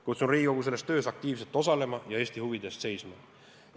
Kutsun Riigikogu selles töös aktiivselt osalema ja Eesti huvide eest seisma.